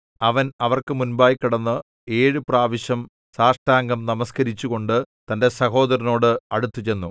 അവൻ അവർക്ക് മുൻപായി കടന്ന് ഏഴു പ്രാവശ്യം സാഷ്ടാംഗം നമസ്കരിച്ചുകൊണ്ട് തന്റെ സഹോദരനോട് അടുത്തുചെന്നു